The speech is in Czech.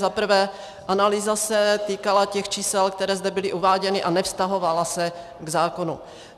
Za prvé, analýza se týkala těch čísel, která zde byla uváděna, a nevztahovala se k zákonu.